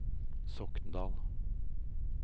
Sokndal